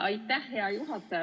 Aitäh, hea juhataja!